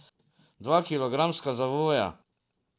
Dva kilogramska zavoja.